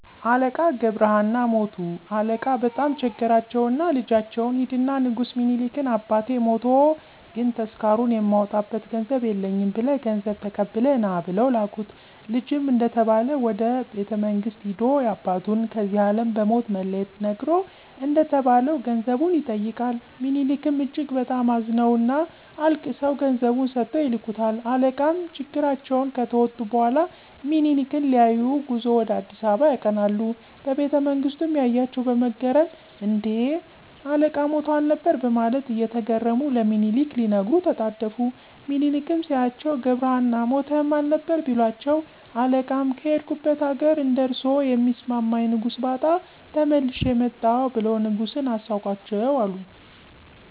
አለቃ ገብረ ሃና ሞቱ አለቃ በጣም ቸገራቸውና ልጃቸውን ሂድና ንጉስ ሚኒሊክን አባቴ ሞቶ ግን ተስካሩን የማወጣበት ገንዘብ የለኝም ብለህ ገንዘብ ተቀብለህ ና ብለው ላኩት። ልጅም እንደተባለው ወደ ቤተመንግስት ሂዶ ያባቱን ከዚህ አለም በሞት መለየት ነግሮ እንደተባለው ገንዘቡን ይጠይቃል። ምኒሊክም እጅግ በጣም አዝነውና አልቅሰው ገንዘቡን ሰጥተው ይልኩታል። አለቃም ችግራቸውን ከተወጡ በኋላ ምኒሊክን ሊያዪ ጉዞ ወደ አ.አ. ያቀናሉ። በቤተመንግስቱም ያያቸው በመገረም እን...ዴ? አለቃ ሞተው አልነበር በማለት እየተገረሙ ለምኒሊክ ሊነግሩ ተጣደፉ። ሚኒሊክም ሲያዩአቸው ገብረሀና ሞተህም አልነበር? ቢሏቸው አለቃም ከሄድኩበት አገር እንደርሶ የሚስማማኝ ንጉስ ባጣ ተመልሼ መጣሁ ብለው ንጉሱን አሳቋቸው አሉ።